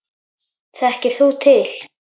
Þekkir þú til?